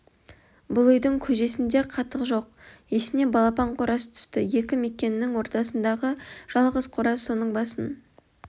бұл үйдің көжесінде қатық жоқ есіне балапан қораз түсті екі мекеннің ортасындағы жалғыз қораз соның басын